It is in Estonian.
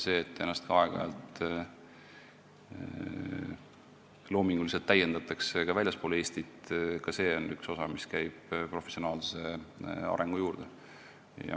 See, et ennast aeg-ajalt loominguliselt täiendatakse ka väljaspool Eestit, käib professionaalse arengu juurde.